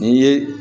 Ni ye